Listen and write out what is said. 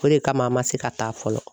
O de kama a ma se ka taa fɔlɔ.